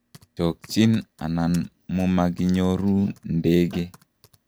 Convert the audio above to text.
chokchin anan mumakinyoru ndege